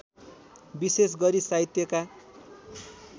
विशेष गरी साहित्यका